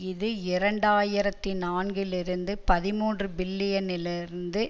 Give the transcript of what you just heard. இது இரண்டாயிரத்தி நான்கில் இருந்த பதிமூன்று பில்லியனில் இருந்து